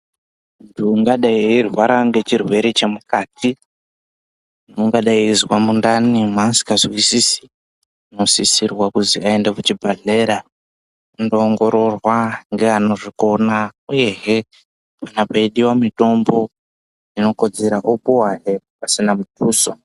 Munthu ungadai eirwara ngechirwere chemukati, ungadai eizwa mundani mweasikazwisisi, unosisirwa kuzwi aende kuchibhedhlera, ondoongororwa ngeanozvikona, uyehe, kana peidiwa mitombo inokodzera, opuwahe pasina muthuso.